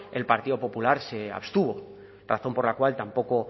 el partido popular se abstuvo razón por la cual tampoco